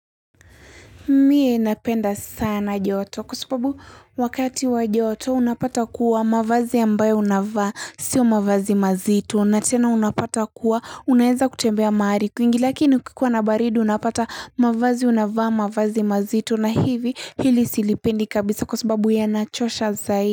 Mie napenda sana joto kwa sababu wakati wa joto unapata kuwa mavazi ambayo unavaa, sio mavazi mazito, natena unapata kuwa unaeza kutembea mahari kuingi lakini kukiwa nabaridi unapata mavazi unavaa mavazi mazito na hivi hili silipendi kabisa kwa sababu ya nachosha zaidi.